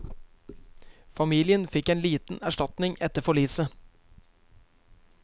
Familien fikk en liten erstatning etter forliset.